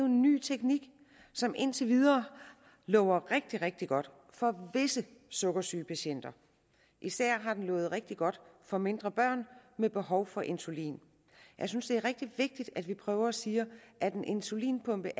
ny teknik som indtil videre lover rigtig rigtig godt for visse sukkersygepatienter især har den lovet rigtig godt for mindre børn med behov for insulin jeg synes det er rigtig vigtigt at vi prøver at sige at en insulinpumpe